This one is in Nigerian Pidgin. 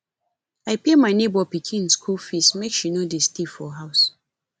i pay my nebor pikin skool fees make she no dey stay for house